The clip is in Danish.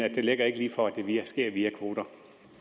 ikke ligger lige for at det sker via kvoter